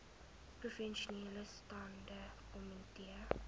provinsiale staande komitee